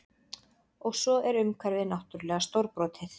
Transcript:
Og svo er umhverfið náttúrlega stórbrotið